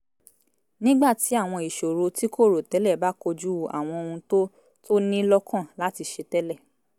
nígbà tí àwọn ìṣòro tí kò rò tẹ́lẹ̀ bá kojú àwọn ohun tó tó ní lọ́kàn láti ṣe tẹ́lẹ̀